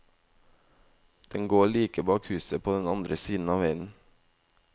Den går like bak huset på den andre siden av veien.